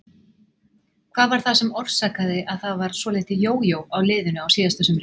Hvað var það sem orsakaði að það var svolítið jójó á liðinu á síðasta sumri?